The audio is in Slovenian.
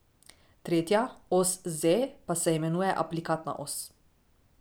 Tretja, os z, pa se imenuje aplikatna os.